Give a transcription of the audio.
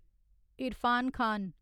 Irfan Khan